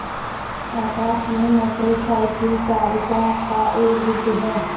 आकाश में motorcycle चालकों का एक गुट है